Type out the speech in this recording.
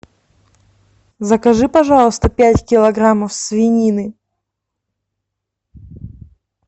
закажи пожалуйста пять килограммов свинины